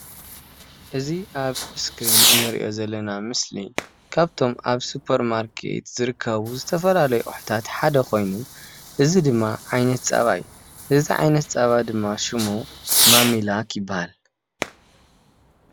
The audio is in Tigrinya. እዚ ኣብ እስክሪን እንሪኦ ዘለና ምስሊ ካብቶም ኣብ ስፖር ማርኬት ዝርከቡ ዝተፈላለዩ ኣቁሕታት ሓደ ኮይኑ እዚ ድማ ዓይነት ፀባ እዩ፡፡ እዚ ዓይነት ፀባ ድማ ሸሙ ማሚላክ ይባሃል፡፡